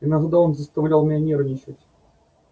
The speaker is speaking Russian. иногда он заставлял меня нервничать